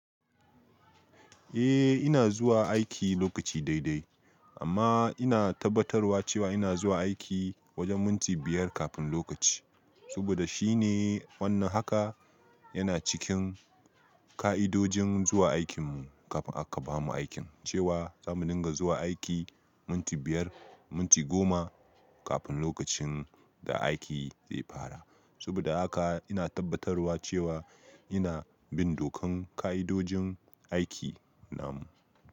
Eh ina zuwa aiki lokaci dai dai amma ina tabbatarwa cewa ina zuwa aiki wajen minti biyar kafin lokaci. Saboda shine wannan haka yana cikin ka'idojin zuwa aikin mu kafin aka bamu aikin cewa za mu dinga zuwa aiki minti biyar, minti goma kafin lokacin da aiki zai fara. Saboda haka ina tabbatarwa cewa ina bin dokan ka'idojin aiki na mu.